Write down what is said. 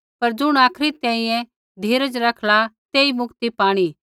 पर ज़ुण आखरी तैंईंयैं धीरज रखला तेई मुक्ति पाणी